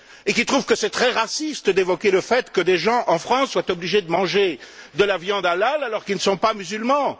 Il trouve qu'il est très raciste d'évoquer le fait que des gens en France sont obligés de manger de la viande hallal, alors qu'ils ne sont pas musulmans.